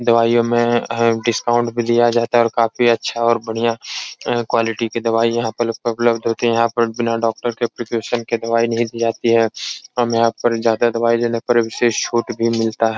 दवाईयों में अ डिस्काउंट भी दिया जाता है और काफी अच्छा और बढ़िया क्वालिटी की दवाई यहाँ पल लपलब्ध होती हैं। यहाँ पर बिना डॉक्टर के एप्लीकेशन के दवाई नहीं दी जाती है। हमें यहाँ पर ज्यादा दवाई लेने की विशेष छूट भी मिलता है।